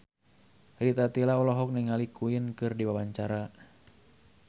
Rita Tila olohok ningali Queen keur diwawancara